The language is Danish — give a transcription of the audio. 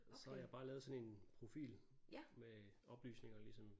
Så har jeg bare lavet sådan en profil med oplysninger ligesom